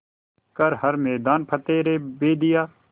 कर हर मैदान फ़तेह रे बंदेया